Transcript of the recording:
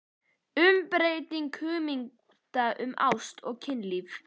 UMBREYTING HUGMYNDA UM ÁST OG KYNLÍF